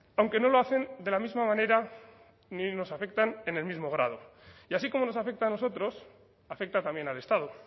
aunque no lo hacen de la misma manera ni nos afectan en el mismo grado y así como nos afecta a nosotros afecta también al estado